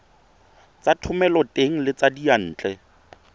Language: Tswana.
tsa thomeloteng le tsa diyantle